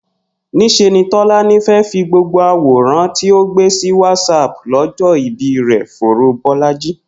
Nís̩e ni Tó̩lání fé̩ fi gbogbo àwòràn tí ó gbé sí Whatsapp ló̩jó̩ ìbí rè̩ foró Bó̩lájí